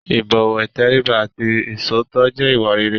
ìbọ̀wọ̀, ìtẹríba àti iṣòótọ́ jẹ́ ìwà rere.